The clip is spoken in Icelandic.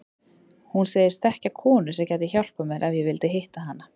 Hún sagðist þekkja konu sem gæti hjálpað mér ef ég vildi hitta hana.